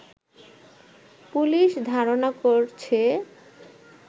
police ধারণা করছে